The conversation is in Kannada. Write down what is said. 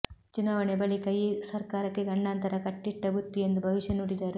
ಚುನಾವಣೆ ಬಳಿಕ ಈ ಸರ್ಕಾರಕ್ಕೆ ಗಂಡಾಂತರ ಕಟ್ಟಿಟ್ಟ ಬುತ್ತಿ ಎಂದು ಭವಿಷ್ಯ ನುಡಿದರು